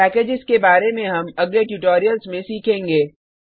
packages के बार में हम अगले ट्यूटोरियल्स में सीखेंगे